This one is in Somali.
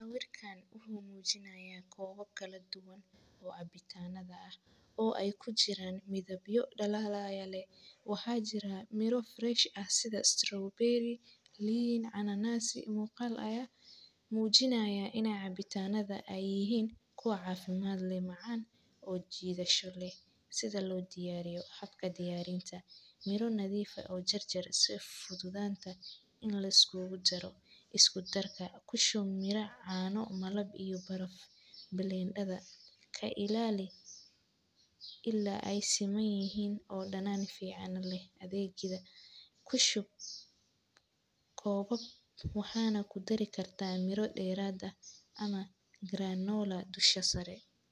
Sawirkan huu muujinaya koowab kala duwan oo cabitaanada ah oo ay ku jiraan midab yo dhalalaya leh. Wuxuu jira Miro Fresh, ah sida Strawberry, Lin, ananasi muuqaal ayaa. Muujinaya inay cabitaanada ay yihiin ku caafimaad leh macaan oo jiidasho leh. Sida loo diyaariyo xabka diyaarinta. Miro nadiifay oo jar jar si fududaanta in la iskuugu jaro. Isku darka ku shumira caano, malab iyo baraf blender dha. Ka ilaali illaa ay siman yihiin oo dhanaan fiican leh. Adeegyada, ku shub. Koowab waxaana ku dari kartaa miro dheeraad ah ama Granula dusha sare.